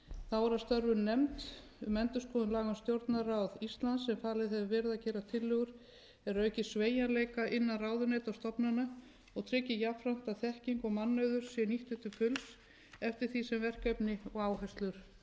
þá er að störfum nefnd um endurskoðun laga um stjórnarráð íslands sem falið hefur verið að gera tillögur er auki sveigjanleika innan ráðuneyta og stofnana og tryggi jafnframt að þekking og mannauður sé nýttur til fulls eftir því sem verkefni og áherslur breytast